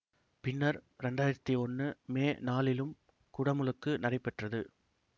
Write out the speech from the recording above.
பின்னர் இரண்டாயிரத்தி ஒன்று மே நாலிலும் குடமுழுக்கு நடைபெற்றது